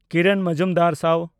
ᱠᱤᱨᱚᱱ ᱢᱚᱡᱩᱢᱫᱟᱨ-ᱥᱟᱣ